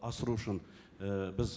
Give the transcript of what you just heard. асыру үшін і біз